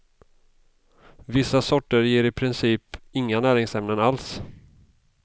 Vissa sorter ger i princip inga näringsämnen alls.